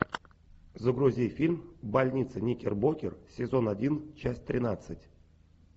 загрузи фильм больница никербокер сезон один часть тринадцать